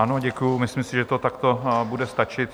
Ano, děkuji, myslím si, že to takto bude stačit.